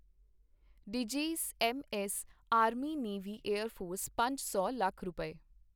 ਡੀਜੀਜ਼ਐੱਮਐੱਸ army navy air force ਪੰਜ ਸੌ ਲੱਖ ਰੁਪਏ,